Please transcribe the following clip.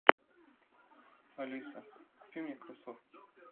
алиса купи мне кроссовки